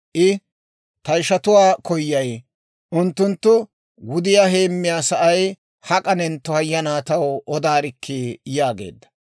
I, «Ta ishatuwaa koyay; unttunttu wudiyaa heemiyaa sa'ay hak'anentto hayana taw odaarikkii!» yaageedda.